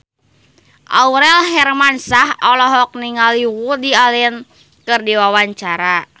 Aurel Hermansyah olohok ningali Woody Allen keur diwawancara